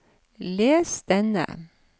les denne